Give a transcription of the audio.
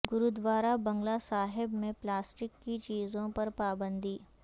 گوردوارہ بنگلہ صاحب میں پلاسٹک کی چیزوں پر پابندی